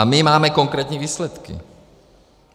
A my máme konkrétní výsledky.